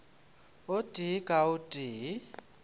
o tee ka o tee